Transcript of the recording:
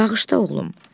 Bağışda, oğlum.